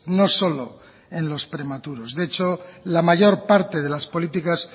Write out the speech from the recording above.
no solo en los prematuros de hecho la mayor parte de las políticas